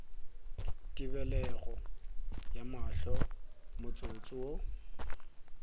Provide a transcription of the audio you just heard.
tebelego ya mahlo motsotso wo